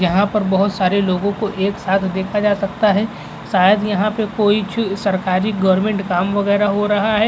यहाँ पर बोहोत सारे लोगों को एक साथ देखा जा सकता है। शायद यहाँ पे कोई च् सरकारी गोरमेंट काम वगैरह हो रहा है।